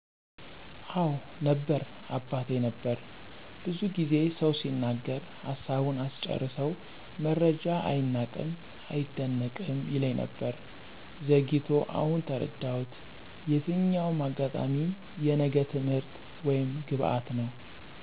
አወ ነበር አባቴ ነበር። ብዙ ጊዜ ሰው ሲናገር ሀሳቡን አስጨርሰው መረጃ አይናቅም አይደነቅም ይለኝ ነበር። ዘግይቶ አሁን ተረዳሁት የትኛውም አጋጣሚ የነገ ትምህርት ወይም ግባት ነው።